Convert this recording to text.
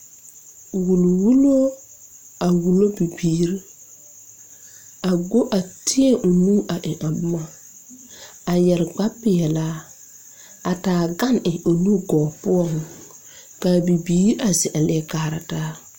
Wulli wullo a wullo bibiire a go a teɛ o nu a w a boma a yɛre kpare peɛlaa a taa gane eŋ o nu gɔɔ poɔŋ kaa bibiire a zeŋ aleɛ kaara taa.